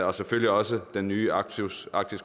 og selvfølgelig også den nye arktiske